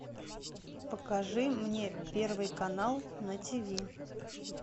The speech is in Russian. покажи мне первый канал на тв